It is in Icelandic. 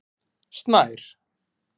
Snær